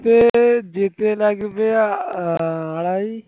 সে যেতে লাগবে আড়াই